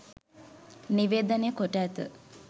නිවේදනය කොට ඇත